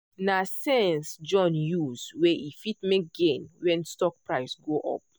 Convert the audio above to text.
na sense john use wey e fit make gain when stock price go up.